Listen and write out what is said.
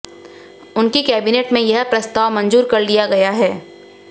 उनकी केबिनेट में यह प्रस्ताव मंजूर कर लिया गया है